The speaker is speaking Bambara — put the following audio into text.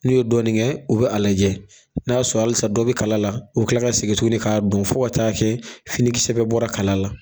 N'u ye dɔɔnin kɛ u bɛ a lajɛ, n'a y'a sɔrɔ halisa dɔ bi kala la, u bi kila ka segin tugun k'a don, fo ka taa kɛ finikisɛ bɛ bɔra kala la.